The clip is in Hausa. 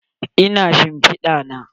Ina shimpida na?